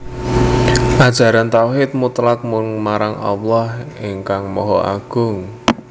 Ajaran tauhid mutlak mung marang Allah ingkang Maha Agung